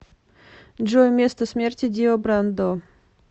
джой место смерти дио брандо